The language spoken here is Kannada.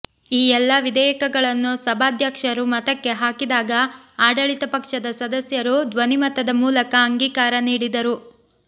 ಈ ಎಲ್ಲಾ ವಿಧೇಯಕಗಳನ್ನು ಸಭಾಧ್ಯಕ್ಷರು ಮತಕ್ಕೆ ಹಾಕಿದಾಗ ಆಡಳಿತ ಪಕ್ಷದ ಸದಸ್ಯರು ಧ್ವನಿ ಮತದ ಮೂಲಕ ಅಂಗೀಕಾರ ನೀಡಿದರು